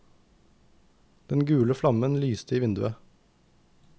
Den gule flammen lyste i vinduet.